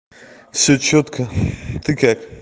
все чётко так это